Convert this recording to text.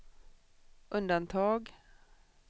undantag